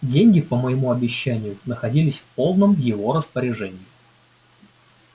деньги по моему обещанию находились в полном его распоряжении